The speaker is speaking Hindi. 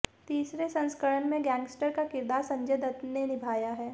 तीसरे संस्करण में गैंगस्टर का किरदार संजय दत्त ने निभाया है